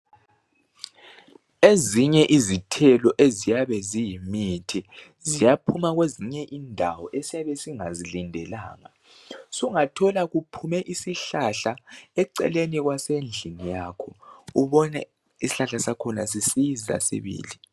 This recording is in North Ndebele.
Ezinye izithelo eziyabe ziyimithi ziyaphuma kwezinye indawo esiyabe singazilindelanga. Sungathola kuphume isihlahla eceleni kwasendlini yakho ubone isihlahla sakhona sisiza sibili.